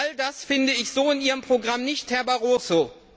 All das finde ich so in Ihrem Programm nicht, Herr Barroso.